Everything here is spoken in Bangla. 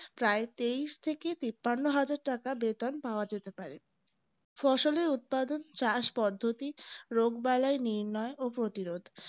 প্রায় তেইশ থেকে তিপ্পান্ন হাজার টাকা বেতন পাওয়া যেতে পারে ফসলের উৎপাদন চাষ পদ্ধতি রোগবালয় নির্ময় ও প্রতিরোধ